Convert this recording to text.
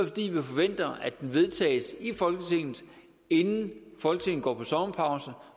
fordi vi forventer at det vedtages i folketinget inden folketinget går på sommerpause